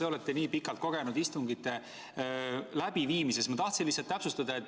Te olete nii pikalt kogenenud istungite läbiviimises, et ma tahtsin lihtsalt täpsustada.